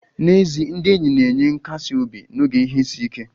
Ezi ndị enyi na-enye nkasi obi n'oge ihe isi ike